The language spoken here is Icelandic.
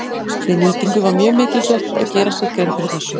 Við nýtingu var mjög mikilsvert að gera sér grein fyrir þessu.